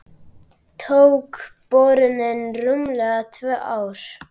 Tók borunin rúmlega tvö ár.